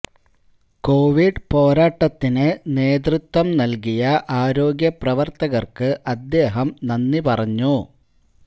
Covid പോരാട്ടത്തിന് നേതൃത്വം നല്കിയ ആരോഗ്യ പ്രവര്ത്തകര്ക്ക് അദ്ദേഹം നന്ദി പറഞ്ഞു